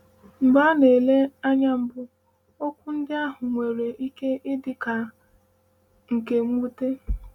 “Mgbe a na-ele ya anya mbụ, okwu ndị ahụ nwere ike ịdị ka nke mwute.”